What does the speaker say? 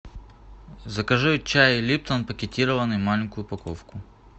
закажи чай липтон пакетированный маленькую упаковку